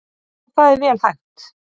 Já það er vel hægt.